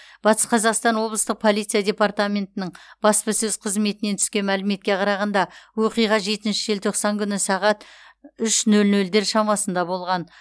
батыс қазақстан облыстық полиция департаментінің баспасөз қызметінен түскен мәліметке қарағанда оқиға жетінші желтоқсан күні сағат үш нөл нөлдер шамасында болған